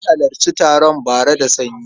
Na halarci taron bara da sanyi.